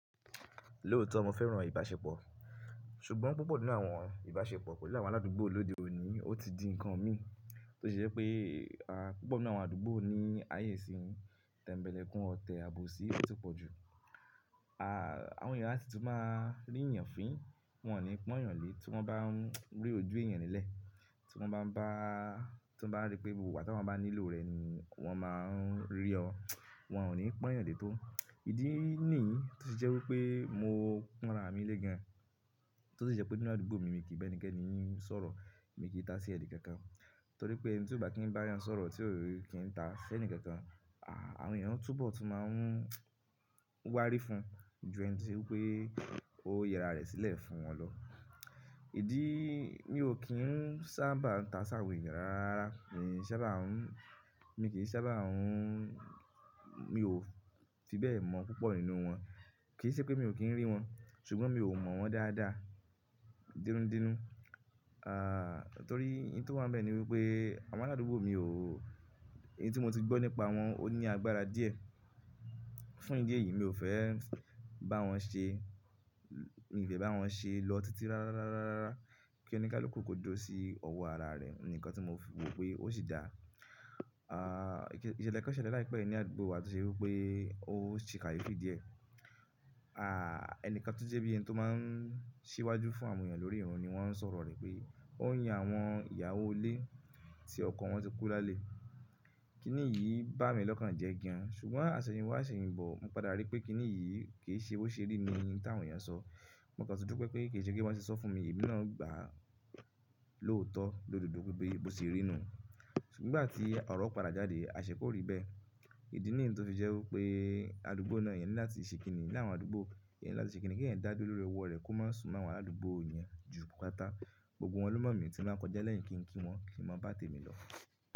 Lóòótọ́ mo fẹ́ràn ìbáṣepọ̀, ṣùgbọ́n púpọ̀ nínú àwọn ìbáṣepọ̀ pẹ̀lú àwọn aládùúgbò lóde òní, ó ti di ǹkan mi tó ṣe jé pé, púpọ̀ nínú àwọn àdúgbò ní ààyè sí yi tẹ̀mbẹ́lẹ́ kún ọtẹ̀ àbòsí tó ti pọ̀ jù. Àwọn èèyàn á sì tún máa rí èèyàn fín, wọ́n ní pọ́n èèyàn lé tí wọ́n bá ń rí ojú èèyàn nílẹ̀. Tí wọ́n bá ń bá, tó bá rí pé gbogbo ìgbà ta wọ́n bá nílò rẹ̀ ni wọ́n máa ń rí ọ. Wọn ò ní pọ́n èèyàn lé tó. Ìdí nìyí tó ṣe jẹ́ wípé mo ń pon ra mi lé gan, tó sì jẹ́ pé nínú àdúgbò mi, mi kì í bá ẹnikẹ́ni sọ̀rọ̀, mi kì í ta sí ẹ̀ni kankan. Torí pé ẹni tí ò bá kí n bá èèyàn sọ̀rọ̀ tí ò kí n ta si ẹni kankan, àwọn èèyàn tún bọ̀ tú máa ń wárí fún ju ẹni tí se pé ó yẹra rẹ̀ sílẹ̀ fún wọn lọ. Ìdí mi ò kí ń sábà ń ta sàwon èèyàn rárá rárá, mi ò sábà ń, mi kì í sábà ń, mi ò fi bẹ́ẹ̀ mọ̀ púpọ̀ nínú wọn. Kì í ṣe pé mi ò kí ń rí wọn, ṣùgbọ́n mi ò mọ̀ wọ́n dáadáa, denúdenú. Torí ń tó wá ń bẹ́ẹ̀ ni wípé àwọn aládùúgbò mi ò, ohun tí mo ti gbọ́ nípa wọn ó ní agbára díẹ̀. Fún ìdí èyí mi ò fẹ́ bá wọn ṣe, mi ò fẹ́ bá wọn ṣe lọ títí rárá rárá rárá kí òní kaluku kò dúró sí ọwọ́ ara rẹ̀ ni nǹkan tí mo wò pé ó sì dà. Iṣelẹ́ kán selẹ́ láìpẹ́ yì ní àdúgbò wa tí ó ṣe wípé ó se kayefi díẹ̀. Ẹni kan tó jẹ́ bí i ẹni tó máa ń síwájú fún àwọn èèyàn lórí irun ni wọ́n sọ̀rọ̀ rẹ̀ pé ó ń yan àwọn ìyàwó ilé tí ọkọ wọn ti kú lálẹ́. Kíni yìí bá mi lọ́kàn jẹ́ gán, ṣùgbọ́n aṣẹ̀yìn wá aṣẹ̀yìn bọ̀, mo padà rí pé kíni yìí kì í ṣe bó ṣe rí ni hun tàwọn èèyàn sọ. Mo kàn tú dupe pé kì í ṣe bi wọ́n se sọ fún mi yì èmi náà gbà á lóòótọ́ lódodo wípé bó ṣe rí nu. Ṣùgbọ́n ìgbà tí ọ̀rọ̀ padà jáde, àṣẹ kó rí bẹ́ẹ̀. Ìdí nìyí tó fi jẹ́ wípé àdúgbò náà yẹ láti ṣe kínní, ní àwọn àdúgbò yẹ láti ṣe kínní kí ẹ̀yan dá dúró lórí ọwọ́ rẹ̀ kó má sùn mọ́ àwọn aládùúgbò yẹn ju patápatà. Gbogbo wọn ló mọ̀ mí tí m bá kọjá lẹ́yìn kí n kí wọn, kí má bá tèmi lọ.